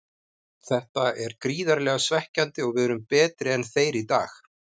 Þetta er gríðarlega svekkjandi og við erum betri en þeir í dag.